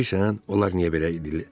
Bilirsən, onlar niyə belə eləyirlər?